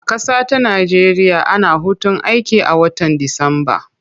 A kasata nigeria, ana hutun aiki a watan disamba.